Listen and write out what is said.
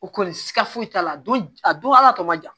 O kɔni siga foyi t'a la don a don hal'a tɔ man jan